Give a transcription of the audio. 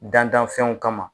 Dantanfɛnw kama ma.